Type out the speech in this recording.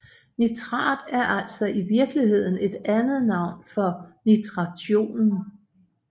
Nitrat er altså i virkeligheden et andet navn for nitrationen